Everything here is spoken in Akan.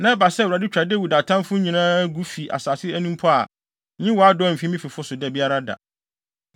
na ɛba sɛ Awurade twa Dawid atamfo nyinaa gu fi asase ani mpo a, nyi wʼadɔe mfi me fifo so da biara da.”